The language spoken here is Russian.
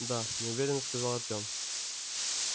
да неуверенно сказал артем